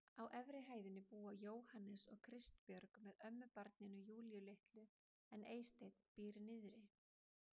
Á efri hæðinni búa Jóhannes og Kristbjörg með ömmubarninu Júlíu litlu en Eysteinn býr niðri.